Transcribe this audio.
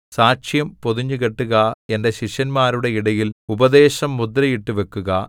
സാക്ഷ്യം പൊതിഞ്ഞുകെട്ടുക എന്റെ ശിഷ്യന്മാരുടെ ഇടയിൽ ഉപദേശം മുദ്രയിട്ടു വെക്കുക